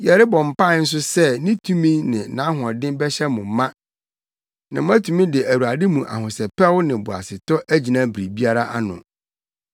Yɛrebɔ mpae nso sɛ ne tumi ne nʼahoɔden bɛhyɛ mo ma na moatumi de Awurade mu ahosɛpɛw ne boasetɔ agyina biribiara ano.